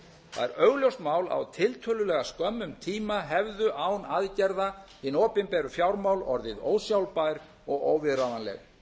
það er augljóst mál að á tiltölulega skömmum tíma hefðu án aðgerða hin opinberu fjármál orðið ósjálfbær og óviðráðanleg